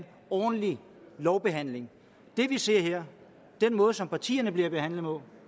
ordentlig lovbehandling det vi ser her den måde som partierne bliver behandlet